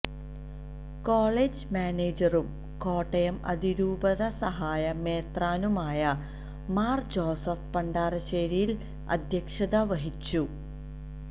college മാനേജറും കോട്ടയം അതിരൂപത സഹായ മെത്രാനുമായ മാര് ജോസഫ് പണ്ടാരശേരില് അധ്യക്ഷതവഹിച്ചു